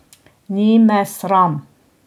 Ni me sram.